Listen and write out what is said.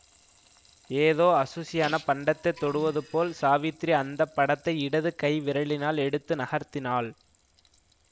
ஏதோ அசுசியான பண்டத்தைத் தொடுவதுபோல் சாவித்திரி அந்த படத்தை இடது கை விரலினால் எடுத்து நகர்த்தினாள்